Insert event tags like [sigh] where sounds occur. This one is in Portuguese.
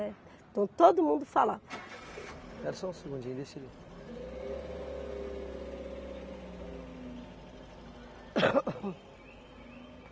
Então todo mundo falava... Espera só um segundinho, deixa eu ver. (som de automóvel) [coughs]